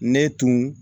Ne tun